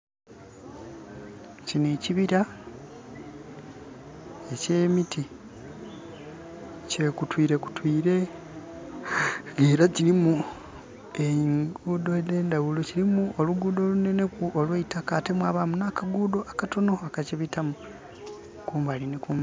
Kino ekibira ekye miti kyekutwire kutwire nga era kirimu enguudo edhe ndhaghulo. Kilimu oluguudo olunhenheku olweitaka ate mwabamu akaguudho akatonho akakibitamu kumbali nhi kumbali.